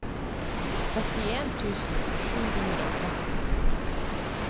trettien tusen sju hundre og tretten